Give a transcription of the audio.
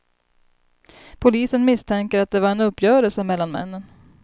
Polisen misstänker att det var en uppgörelse mellan männen.